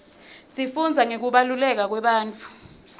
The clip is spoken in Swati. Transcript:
sifundza ngekubaluleka kwebantfu